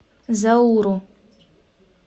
зауру